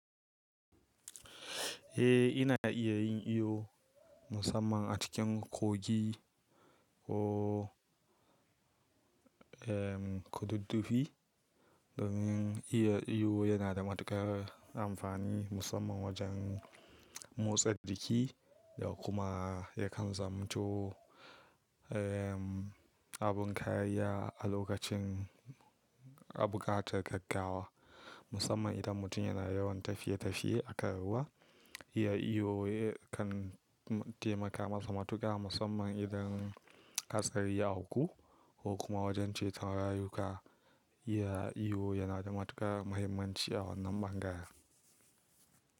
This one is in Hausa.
Eh ina iya yin iyo musamman a cikin kogi ko, eh, kududdufi domin iya iyo yana da matuƙar amfani musamman wajen motsa jiki da kuma yakan zamo too, eh, abin kayya a lokacin abu gatar gaggawa musamman idan mutum yana yawan tafiye tafiye akan ruwa. Iya iyo kan taimaka masa matuƙa musamman idan hatsari ya auku ko kuma wajen ceton rayuka. Iya iyo yana da matuƙar muhimmanci a wannan bangare.